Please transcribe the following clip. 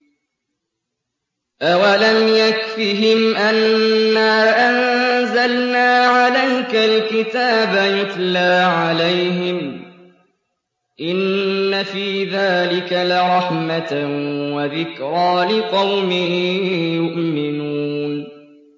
أَوَلَمْ يَكْفِهِمْ أَنَّا أَنزَلْنَا عَلَيْكَ الْكِتَابَ يُتْلَىٰ عَلَيْهِمْ ۚ إِنَّ فِي ذَٰلِكَ لَرَحْمَةً وَذِكْرَىٰ لِقَوْمٍ يُؤْمِنُونَ